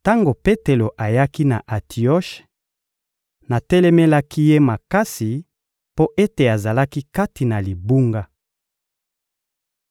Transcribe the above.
Tango Petelo ayaki na Antioshe, natelemelaki ye makasi mpo ete azalaki kati na libunga.